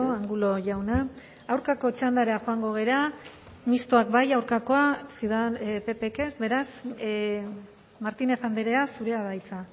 angulo jauna aurkako txandara joango gara mistoak bai aurkakoa ppk ez beraz martínez andrea zurea da hitza